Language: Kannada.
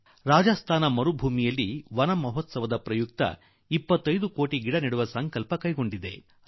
ಮರುಭೂಮಿಯ ರಾಜಸ್ತಾನ ಬೃಹತ್ ವನ ಮಹೋತ್ಸವ ನಡೆಸಿ 25 ಲಕ್ಷ ಗಿಡ ನೆಡುವ ಸಂಕಲ್ಪ ಮಾಡಿದೆ